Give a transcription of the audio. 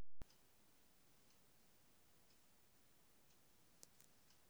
Mbata mũcinga nĩ nyoni ĩikaraga nginya mũtitũ.